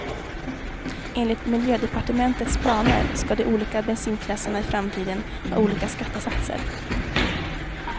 Enligt miljödepartementets planer ska de olika bensinklasserna i framtiden ha olika skattesatser.